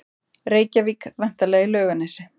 Reykjavík, væntanlega í Laugarnesi.